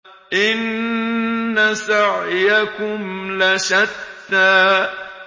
إِنَّ سَعْيَكُمْ لَشَتَّىٰ